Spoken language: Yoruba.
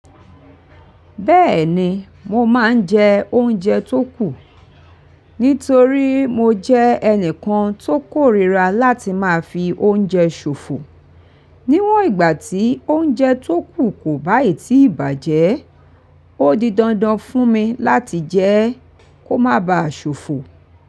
Bẹ́ẹ̀ni mo máa ń jẹ oúnjẹ tó kù, nítorí mo jẹ́ ẹnìkan tó kórìíra láti máa fi oúnjẹ ṣòfò. Níwòn ìgbà tí ounjẹ to kùn ko bayi tí bajẹ, odi dandan fún mi láti jẹ, ko ma ba ṣofo.